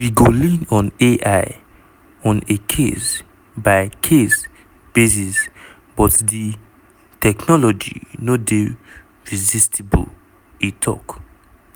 "we go lean on [ai] on a case-by-case basis but di technology no dey resistible" e tok.